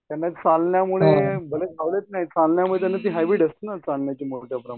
त्यांना चालण्यामध्ये भले धावणं नाही चालण्यामध्ये चालण्याची त्याप्रमाणे.